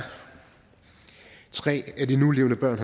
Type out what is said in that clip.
tre af de nulevende børn